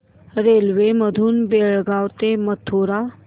railway मधून बेळगाव ते मथुरा